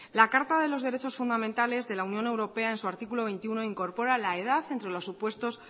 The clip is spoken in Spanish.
la carta de los derechos fundamentales de la unión europea en su artículo veintiuno incorpora la edad entre los supuestos